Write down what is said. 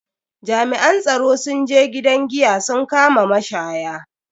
Jami'an tsaro sun je gidan giya sun kama mashaya.